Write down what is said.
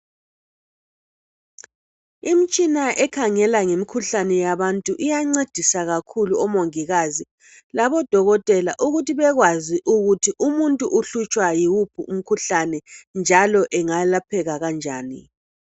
Imitshina ekhangela ngemikhuhlane yabantu iyancedisa kakhulu omongikazi labodokotela ukuthi bakwazi ukuthi umuntu uhlutshwa yiwuphi umkhuhlane njalo engayelapheka kanjani.